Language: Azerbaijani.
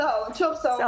Sağ olun, çox sağ olun.